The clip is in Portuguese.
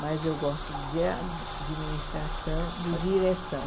Mas eu gosto de administração, de direção.